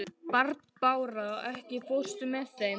Barbára, ekki fórstu með þeim?